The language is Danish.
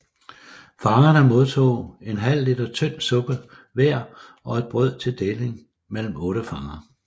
Fangerne modtog en halv liter tynd suppe hver og et brød til deling mellem otte fanger